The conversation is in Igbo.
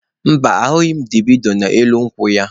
Mba, ahụghị m dabino n'elu ukwu ya.